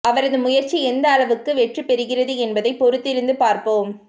அவரது முயற்சி எந்த அளவுக்கு வெற்றி பெறுகிறது என்பதை பொறுத்திருந்து பார்ப்போம்